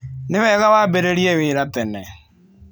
Nĩ wega wambĩrĩrie wĩra tene.